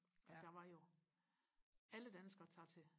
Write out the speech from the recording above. at der var jo alle danskere tager til